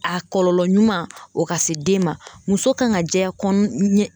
A kɔlɔlɔ ɲuman o ka se den ma muso kan ka jɛya kɔn ɲɛ